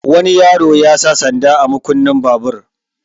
Wani yaro ya sa sanda a makunnin babur.